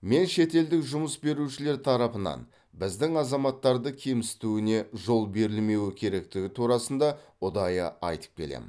мен шетелдік жұмыс берушілер тарапынан біздің азаматтарды кемсітуіне жол берілмеуі керектігі турасында ұдайы айтып келемін